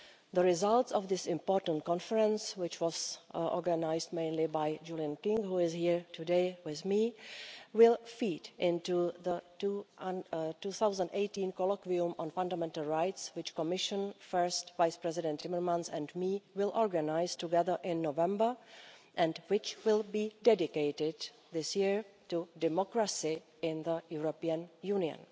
The results of this important conference, which was organised mainly by Julian King, who is here today with me, will feed into the 2018 colloquium on fundamental rights, which Commission First Vice-President Timmermans and I will organise together in November, and which will be dedicated this year to democracy in the European Union.